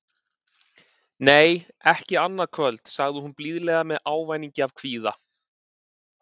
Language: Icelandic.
Nei, ekki annað kvöld, sagði hún blíðlega með ávæningi af kvíða.